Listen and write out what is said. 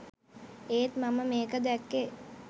ඒත් මම මේක දැක්කේ